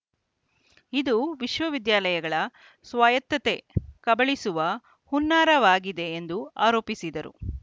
ಇದು ವಿಶ್ವವಿದ್ಯಾಲಗಳ ಸ್ವಾಯತ್ಥತೆ ಕಬಳಿಸುವ ಹುನ್ನಾರವಾಗಿದೆ ಎಂದು ಆರೋಪಿಸಿದರು